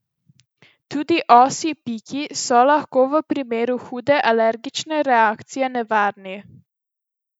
Tudi osji piki so lahko v primeru hude alergične reakcije nevarni.